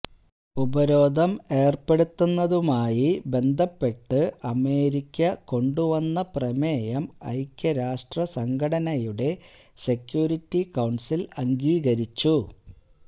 ഉപരോധം ഏര്പ്പെടുത്തുന്നതുമായി ബന്ധപ്പെട്ട് അമേരിക്ക കൊണ്ടുവന്ന പ്രമേയം ഐക്യരാഷ്ട്ര സംഘടനയുടെ സെക്യൂരിറ്റി കൌണ്സില്അംഗീകരിച്ചു